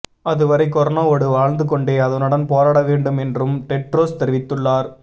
அதுவரை கொரோனாவோடு வாழ்ந்து கொண்டே அதனுடன் போராட வேண்டும் என்றும் டெட்ரோஸ் தெரிவித்துள்ளார்